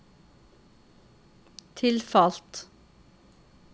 tilfalt